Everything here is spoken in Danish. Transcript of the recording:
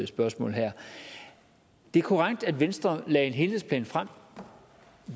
spørgsmål det er korrekt at venstre lagde en helhedsplan frem